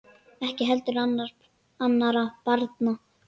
Ekki heldur annarra barna pabbi.